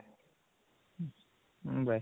ହୁଁ bye